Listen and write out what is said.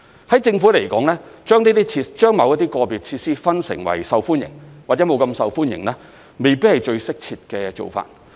在政府而言，把某些個別設施分成為受歡迎，或者沒那麼受歡迎，未必是最適切的做法。